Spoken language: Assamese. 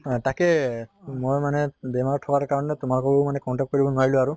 অহ তাকে ময়ো মানে বেমাৰত থকাৰ কাৰণে তোমাকো মানে contact কৰিব নোৱাৰিলো আৰু